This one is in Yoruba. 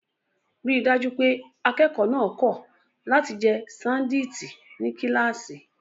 Rí i dájú pé akẹ́kọ̀ọ́ náà kọ̀ láti jẹ ṣándíìtì ní kíláàsì.